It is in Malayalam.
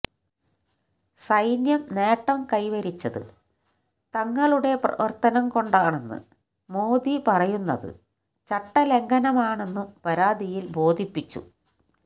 സൈന്യം നേട്ടം കൈവരിച്ചത് തങ്ങളുടെ പ്രവര്ത്തനം കൊണ്ടാണെന്ന് മോദി പറയുന്നത് ചട്ടലംഘനമാണെന്നും പരാതിയില് ബോധിപ്പിച്ചു